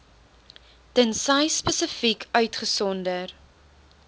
tensy spesifiek uitgesonder